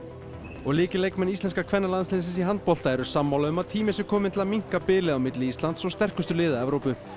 og lykilleikmenn íslenska kvennalandsliðsins í handbolta eru sammála um að tími sé kominn að minnka bilið á milli Íslands og sterkustu liða Evrópu